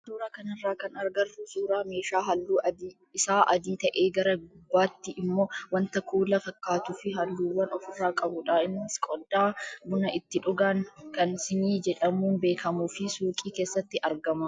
Suuraa kanarraa kan agarru suuraa meeshaa halluun isaa adii ta'ee gara gubbaatti immoo wanta kuula fakkaatuu fi halluuwwan ofirraa qabudha. Innis qodaa buna itti dhugan kan siinii jedhamuun beekamuu fi suuqii keessatti argama.